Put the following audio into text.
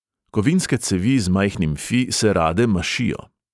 Kovinske cevi z majhnim fi se rade mašijo.